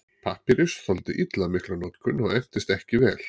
papýrus þoldi illa mikla notkun og entist ekki vel